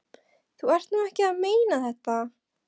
Þú ert nú ekki að meina þetta!